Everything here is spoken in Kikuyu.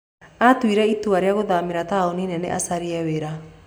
Aatuire itua rĩa gũthamĩra taũni nene acarie wĩra.